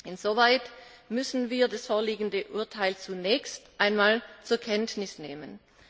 Insoweit müssen wir das vorliegende Urteil zunächst einmal zur Kenntnis nehmen.